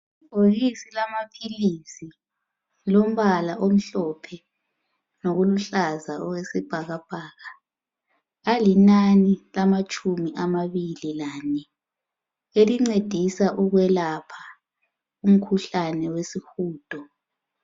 Libhokisi lamaphilisi, lilombala omhlophe loluhlaza okwesibhakabhaka alinani lamatshumi amabili lane elincedisa ukwelapha umkhuhlane wesihudo.